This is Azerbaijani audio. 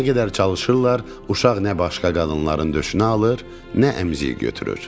Nə qədər çalışırlar, uşaq nə başqa qadınların döşünü alır, nə əmziyi götürür.